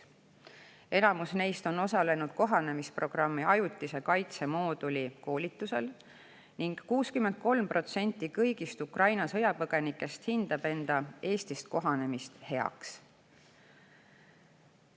Enamus neist on osalenud kohanemisprogrammi ajutise kaitse mooduli koolitusel ning 63% kõigist Ukraina sõjapõgenikest hindab enda Eestis kohanemist heaks.